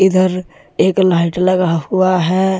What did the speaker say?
इधर एक लाइट लगा हुआ है।